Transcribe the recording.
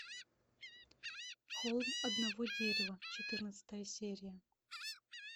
холм одного дерева четырнадцатая серия